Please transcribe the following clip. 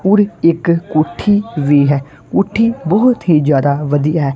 ਔਰ ਇੱਕ ਕੋੱਠੀ ਵੀ ਹੈ ਕੋੱਠੀ ਬਹੁਤ ਹੀ ਜਿਆਦਾ ਵਧੀਆ ਹੈ।